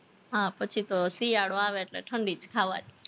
હા પછી તો શિયાળો આવે એટલે ઠંડી જ ખાવાની